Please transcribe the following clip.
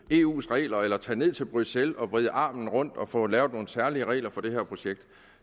eus regler eller tage ned til bruxelles og vride armen om på at få lavet nogle særlige regler for det her projekt